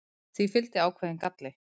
því fylgdi ákveðinn galli